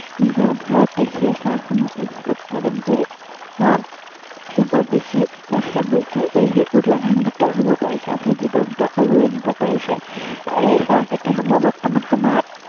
নিজৰ ঘৰতেই সেই চাহসমূহ উম উৎপাদন কৰি, আহ সেইবোৰ বেছি বা বেছি সেইসেইবোৰত লাভাম্বিত হব পাৰিছে, অৰ্থাৎ জীৱনটো আগুৱাই নিব পাৰিছে। এই চাহখেতিসমূহ বৰ্তমান সময়ত